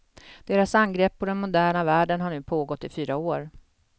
Deras angrepp på den moderna världen har nu pågått i fyra år.